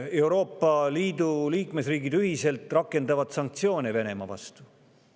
Euroopa Liidu liikmesriigid ühiselt rakendavad sanktsioone Venemaa vastu.